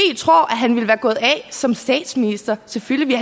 tror at han ville være gået af som statsminister selvfølgelig